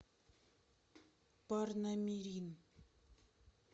парнамирин